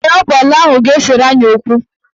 Ee, ọ bụ ala ahụ ga-esere anyị okwu.